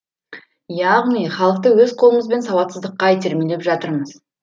яғни халықты өз қолымызбен сауатсыздыққа итермелеп жатырмыз